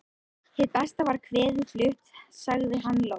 Hið besta var kvæðið flutt, sagði hann loks.